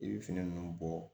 I bɛ fini ninnu bɔ